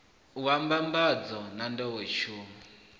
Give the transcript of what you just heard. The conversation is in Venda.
wa mbambadzo na n ḓowetsumo